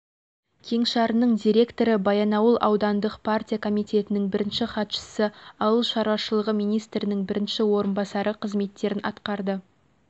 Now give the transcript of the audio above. кеңшарының директоры баянауыл аудандық партия комитетінің бірінші хатшысы ауыл шаруашылығы министрінің бірінші орынбасары қызметтерін атқарды